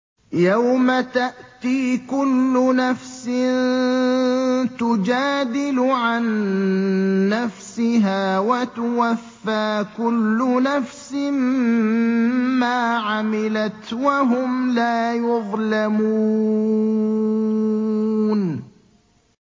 ۞ يَوْمَ تَأْتِي كُلُّ نَفْسٍ تُجَادِلُ عَن نَّفْسِهَا وَتُوَفَّىٰ كُلُّ نَفْسٍ مَّا عَمِلَتْ وَهُمْ لَا يُظْلَمُونَ